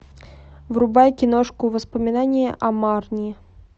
врубай киношку воспоминания о марни